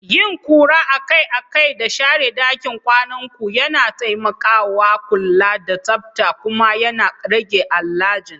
Yin ƙura a kai a kai da share ɗakin kwanan ku yana taimakawa kula da tsabta kuma yana rage allergens.